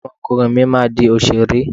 Ọmọ ọkùnrin mi máa di òṣèré.